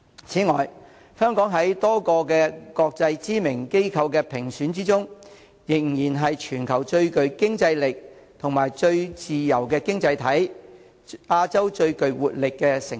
此外，香港在多個國際知名機構的評級中，仍然是全球最具競爭力及最自由的經濟體、亞洲最具活力的城市。